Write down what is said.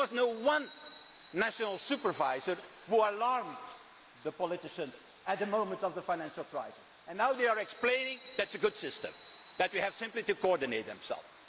There was not one national supervisor which raised the alarm with the politicians at the moment of the financial crisis and now they are explaining that it is a good system, that they have simply to coordinate themselves.